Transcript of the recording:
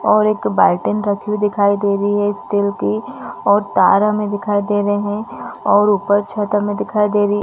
और एक रखी हुई दिखाई दे रही है स्टील की और तार हमें दिखाई दे रहे है और ऊपर छत हमें दिखाई दे रही--